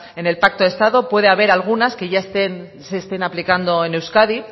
en el pacto de estado puede haber algunas que ya se estén aplicando en euskadi